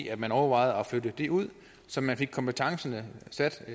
at man overvejede at flytte det ud så man fik kompetencerne sat